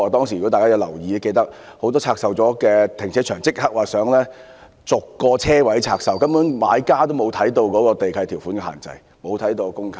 如果大家有留意，應該記得很多停車場出售後，新買家立即想把車位逐個拆售，根本沒有細看地契條款的限制及公契等。